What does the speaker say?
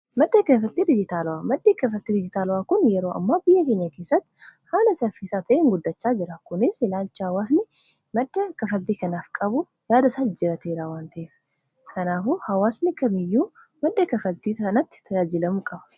Maddi kaffaltii dijitaalaa kun yeroo ammaa biyya keenya keessatti haala saffisaa ta’een guddachaa jira. Kunis ilaalchi hawaasni madda kaffaltii kanaaf qabu jijjiiramaa waan dhufeef, kanafuu hawaasni kamiyyuu madda kaffaltii kanaan tajaajilamuu qaba.